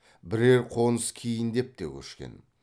бірер қоныс кейіндеп те көшкен